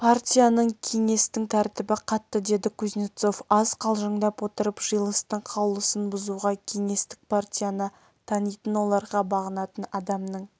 партияның кеңестің тәртібі қатты деді кузнецов аз қалжыңдап отырып жиылыстың қаулысын бұзуға кеңестік партияны танитын оларға бағынатын адамның